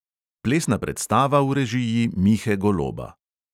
Plesna predstava v režiji mihe goloba.